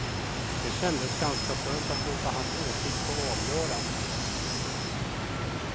Det kändes ganska skönt att låta hans åsikt få avgöra.